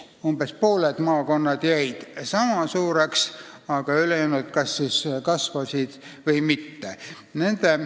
Umbes pooled maakonnad jäid sama suureks kui varem, aga ülejäänud kas kasvasid või kahanesid.